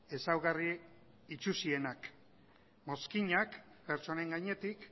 ezaugarri itsusienak mozkinak pertsonen gainetik